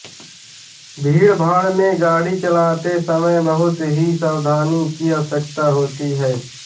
भीड़भाड़ में गाड़ी चलाते समय बहुत ही सावधानी की आवश्यकता होती है